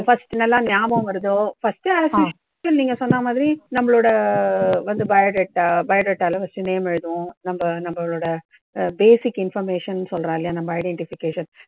first நல்லா ஞாபகம் வருதோ first as usual நீங்க சொன்னா மாதிரி நம்பளோட வந்து bio data bio data ல first name எழுதுவோம். நம்ப நம்பளோட basic information சொல்றோமில்லையா, நம்ப identification